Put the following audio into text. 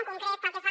en concret pel que fa